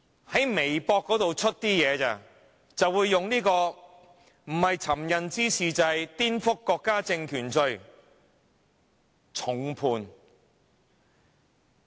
在微博發文，竟會被控以尋釁滋事罪或顛覆國家政權罪，並被重判。